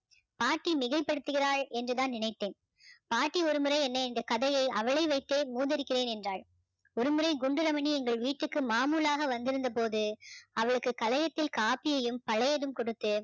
பாட்டி மிகைப்படுத்துகிறாள் என்று தான் நினைத்தேன் பாட்டி ஒருமுறை என்னை இந்த கதையை அவளை வைத்தே என்றாள் ஒருமுறை குண்டு ரமணி எங்கள் வீட்டுkகு மாமூளாக வந்திருந்த போது அவளுக்கு களையத்தில் காப்பியையும் பழையதும் கொடுத்து